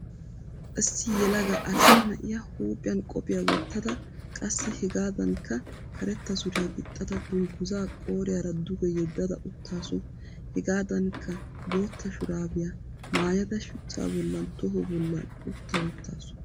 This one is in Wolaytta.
Issi yelaga arssa na'iyaa huuphiyan qophiyaa wottada qassi hegaadankka karetta suriyaa gixxada dungguzaa qooriyaara duge yeddada uttaasu. Hegaadankka bootta shuraabiyaa maayada shuchchaa bollan toho bollan utta wottaasu.